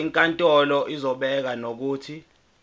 inkantolo izobeka nokuthi